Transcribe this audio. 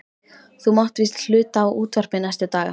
Þú mátt víst hluta á útvarpið næstu daga.